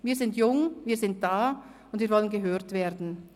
Wir sind jung, wir sind da und wir wollen gehört werden.